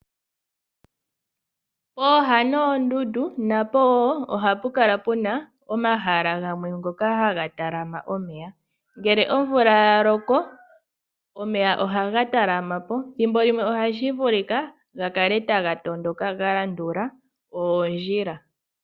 Pooha noondundu napo wo ohapu kala omahala ngoka haga talama omeya. Ngele omvula ya loko omeya ohaga talama po ,thimbo limwe ohashi vulika ga kale taga tondoka ga landula oondjila.